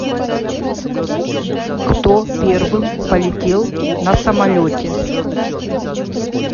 кто первым полетел на самолете